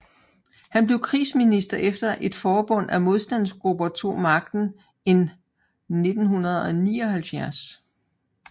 Han blev krigsminister efter at et forbund af modstandsgrupper tog magten in 1979